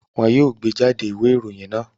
Wọn yoo gbejade iwe iroyin naa!